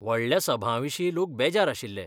व्हडल्या सभांविशीं लोक बेजार आशिल्ले.